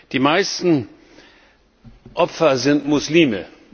Die meisten Opfer sind Muslime.